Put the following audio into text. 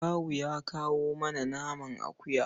Kawu ya kawo mana naman akuya.